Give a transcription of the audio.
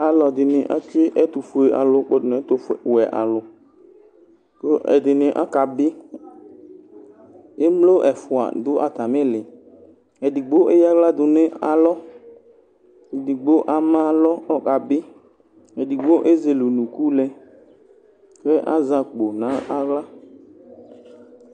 Alʋ ɛdini atsue ɛtʋfue alʋ kpɔdʋ nʋ ɛtʋwɛ alʋ kʋ ɛdini akabi emlo ɛfʋa adʋ atami iili edigbo ayaɣla dʋnʋ alɔ edigbo ama alɔ kʋ ɔkabi edigno ezele ʋnʋkʋ lɛ kʋ azɛ akpo nʋ aɣla